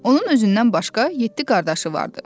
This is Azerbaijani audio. Onun özündən başqa yeddi qardaşı vardı.